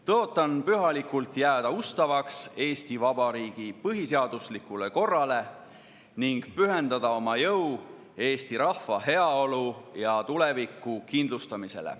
Tõotan pühalikult jääda ustavaks Eesti Vabariigi põhiseaduslikule korrale ning pühendada oma jõu eesti rahva heaolu ja tuleviku kindlustamisele.